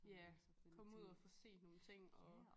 Ja komme ud og få set nogle ting og